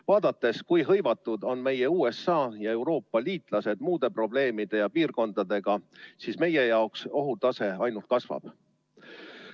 Vaadates, kui hõivatud on meie liitlased USA ja Euroopa riigid muude probleemide ja piirkondadega, on näha, et meie ohutase ainult kasvab.